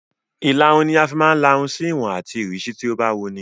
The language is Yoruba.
Ìlarun ni a fi máa ń la irun sí ìwọ̀n àti ìrísí tó bá wun ni.